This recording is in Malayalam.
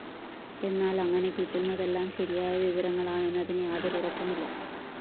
എന്നാല്‍ അങ്ങനെ കിട്ടുന്നതെല്ലാം ശരിയായ വിവരങ്ങളാണെന്നതിന് യാതൊരു ഉറപ്പുമില്ല